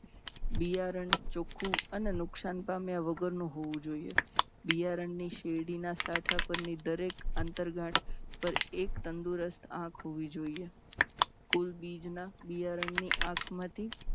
બિયારણ ચોખ્ખું અને નુકસાન પામ્યા વગરનું હોવું જોઈએ. બિયારણની શેરડીના સાંઠા પરની દરેક આંતર ગાંઠ પર એક તંદુરસ્ત આંખ હોવી જોઈએ. કુલ બીજના બિયારણમાંથી